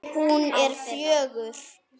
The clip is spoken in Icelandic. Hún er fjögur.